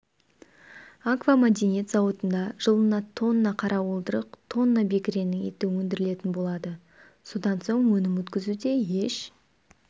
аквамәдениет зауытында жылына тонна қара уылдырық тонна бекіренің еті өндірілетін болады содан соң өнім өткізуде еш